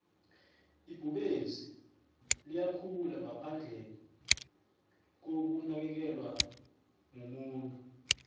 ibhubezi liyakhula ngaphandle kokunakelelwamumuntu